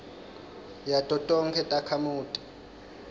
yato tonkhe takhamuti